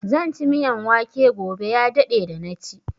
Zan ci miyan wake gobe, ya daɗe da na ci.